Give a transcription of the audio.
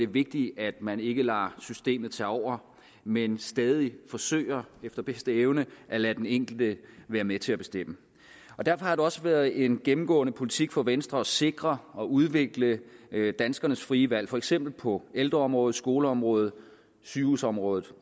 vigtigt at man ikke lader systemet tage over men stadig forsøger efter bedste evne at lade den enkelte være med til at bestemme derfor har det også været en gennemgående politik fra venstre at sikre og udvikle danskernes frie valg for eksempel på ældreområdet skoleområdet sygehusområdet